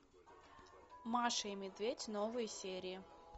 маша и медведь новые серии